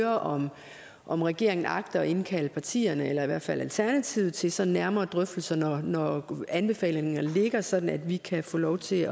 om om regeringen agter at indkalde partierne eller i hvert fald alternativet til sådan nærmere drøftelser når anbefalingerne ligger sådan at vi kan få lov til